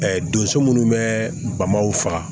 donso minnu bɛ bamaw faga